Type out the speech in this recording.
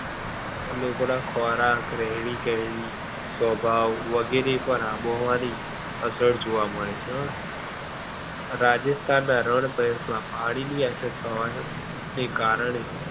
લોકો ના ખોરાક, રહેણીકરણી, સ્વભાવ વગેરે પણ આબોહવા ની અસર જોવા મળે છે. રાજસ્થાન ના રણ પ્રદેશ માં પાણી ની અછત હોવાને કારણે